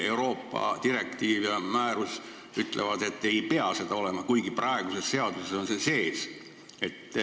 Euroopa direktiiv ja määrus ütlevad, et seda ei pea olema, kuigi praeguses seaduses on see sees.